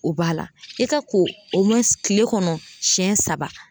O b'a la i ka ko o kile kɔnɔ siyɛn saba.